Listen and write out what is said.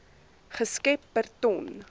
geskep per ton